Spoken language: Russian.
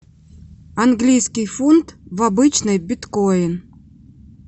английский фунт в обычный биткоин